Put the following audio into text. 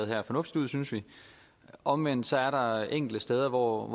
her fornuftigt ud synes vi omvendt så er der enkelte steder hvor